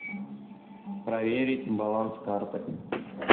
проверить баланс карты